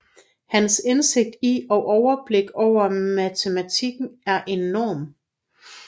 Hans indsigt i og overblik over matematikken er enorm